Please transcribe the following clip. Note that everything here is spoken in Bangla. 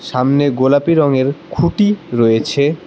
সামনে গোলাপি রঙের খুঁটি রয়েছে।